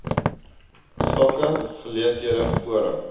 sake geleenthede forum